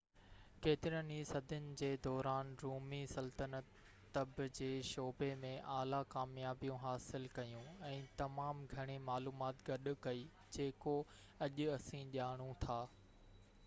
ڪيترين ئي صدين جي دوران، رومي سلطنت طب جي شعبي ۾ اعليٰ ڪاميابيون حاصل ڪيون ۽ تمام گهڻي معلومات گڏ ڪئي جيڪو اڄ اسين ڄاڻو ٿا